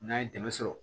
N'an ye dɛmɛ sɔrɔ